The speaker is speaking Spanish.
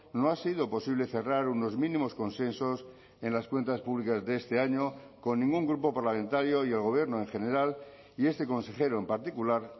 no ha sido posible cerrar unos mínimos consensos en las cuentas públicas de este año con ningún grupo parlamentario y el gobierno en general y este consejero en particular